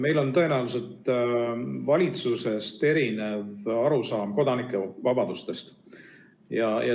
Meil on tõenäoliselt valitsusest erinev arusaam kodanike vabadustest.